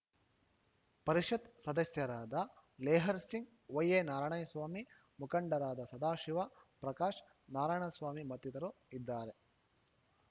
ಪರಿಷತ್ ಸದಸ್ಯರಾದ ಲೆಹರ್‌ಸಿಂಗ್ ವೈಎನಾರಾಯಣ ಸ್ವಾಮಿ ಮುಖಂಡರಾದ ಸದಾಶಿವ ಪ್ರಕಾಶ್ ನಾರಾಯಣ ಸ್ವಾಮಿ ಮತ್ತಿತರರು ಇದ್ದಾರೆ